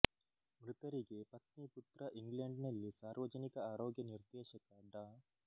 ಮೃತರಿಗೆ ಪತ್ನಿ ಪುತ್ರ ಇಂಗ್ಲೆಂಡಿನಲ್ಲಿ ಸಾರ್ವಜನಿಕ ಆರೋಗ್ಯ ನಿರ್ದೇಶಕ ಡಾ